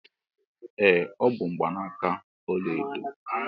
Ee ọ bụ mgbanaka ọla edo.